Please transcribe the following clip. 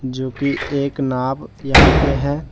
जोकि एक नाव यहां पे है।